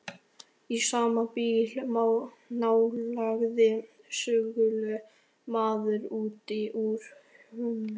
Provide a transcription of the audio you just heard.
Í sama bili nálgaðist skuggaleg mannvera utan úr húminu.